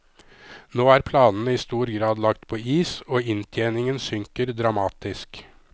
Nå er planene i stor grad lagt på is, og inntjeningen synker dramatisk.